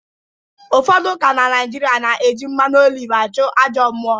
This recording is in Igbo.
Ụfodu ụka na naijịrịa na-eji mmanụ oliv achụ ajọ mmụọ